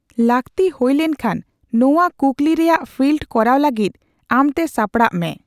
ᱞᱟᱹᱠᱛᱤ ᱦᱳᱭ ᱞᱮᱱᱠᱷᱟᱱ ᱱᱚᱣᱟ ᱠᱩᱠᱞᱤ ᱨᱮᱭᱟᱜ ᱯᱷᱤᱞᱰ ᱠᱚᱨᱟᱣ ᱞᱟᱹᱜᱤᱫ ᱟᱢᱛᱮ ᱥᱟᱯᱲᱟᱜ ᱢᱮ ᱾